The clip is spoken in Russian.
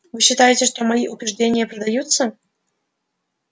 вы считаете что мои убеждения продаются